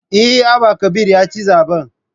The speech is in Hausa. Eh, Abba Kabir ya ci zaben